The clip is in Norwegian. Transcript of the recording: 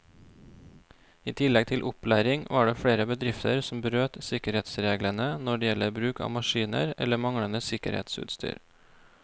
I tillegg til opplæring var det flere bedrifter som brøt sikkerhetsreglene når det gjelder bruk av maskiner eller manglende sikkerhetsutstyr.